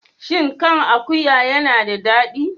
Shin kan akuwa yana da daɗi?